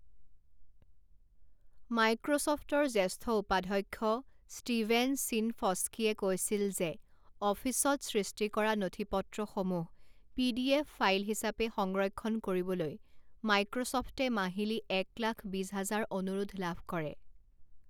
মাইক্ৰ'ছফ্টৰ জ্যেষ্ঠ উপাধ্যাক্ষ ষ্টিভেন চিনফস্কিয়ে কৈছিল যে অফিচত সৃষ্টি কৰা নথিপত্ৰসমূহ পিডিএফ ফাইল হিচাপে সংৰক্ষণ কৰিবলৈ মাইক্ৰ'ছফ্টে মাহিলি এক লাখ বিছ হাজাৰ অনুৰোধ লাভ কৰে।